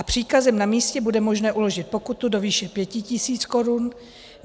A příkazem na místě bude možné uložit pokutu do výše 5 tis. korun.